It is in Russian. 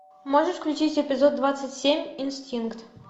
можешь включить эпизод двадцать семь инстинкт